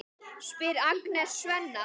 spyr Agnes Svenna.